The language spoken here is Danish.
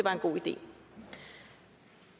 liv